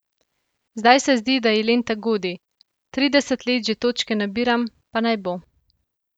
Zdaj se zdi, da ji 'lenta' godi: 'Trideset let že točke nabiram, pa naj bo.